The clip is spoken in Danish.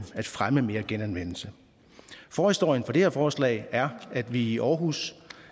fremme mere genanvendelse forhistorien for det her forslag er at vi i aarhus